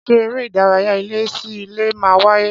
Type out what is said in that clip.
Ṣé eré ìdárayá ilé sí ilé máa wáyé